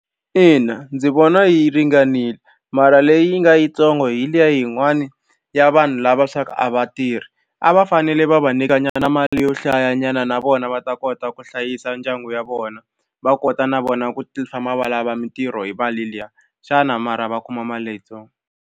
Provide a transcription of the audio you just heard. Ina ndzi vona yi ringanile mara leyi nga yitsongo hi liya yin'wani ya vanhu lava swa ku a va tirhi a va fanele va va nyikanyana mali yo hlayanyana na vona va ta kota ku hlayisa ndyangu ya vona va kota na vona ku famba va lava mitirho hi mali liya xana mara va kuma mali leyitsongo.